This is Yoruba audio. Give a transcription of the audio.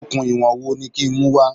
Okùn ìwọ̀n wo ni kí n mú wá?